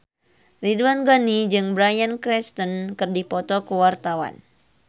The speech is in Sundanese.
Ridwan Ghani jeung Bryan Cranston keur dipoto ku wartawan